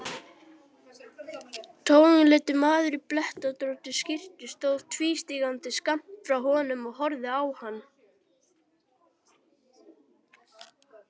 Toginleitur maður í blettóttri skyrtu stóð tvístígandi skammt frá honum og horfði á hann.